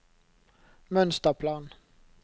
mønsterplan